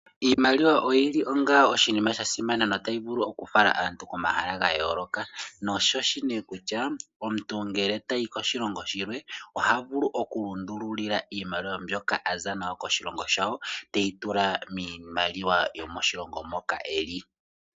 IImaliwa oyili oshinima sha simana notayi vulu okufala aantu komahala ga yooloka, nosho shi ne kutya omuntu ngele tayi koshilongo shimwe oha vulu okulundululila iimaliwa mbyoka aza nayo koshilongo shawo teyi tula miimaliwa yomoshilongo moka eli.